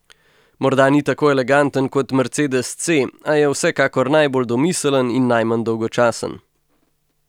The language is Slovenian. Morda ni tako eleganten kot mercedes C, a je vsekakor najbolj domiseln, in najmanj dolgočasen.